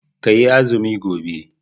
Ka yi azumi gobe